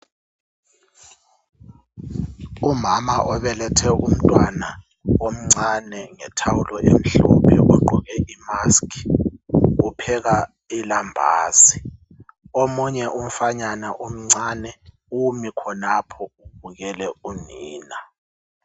umama obelethe umntwana omncane ngethawulo elimhlophe ogqoke imask upheka ilambazi omunye umfanyana omncane umi khonapho ubukela unina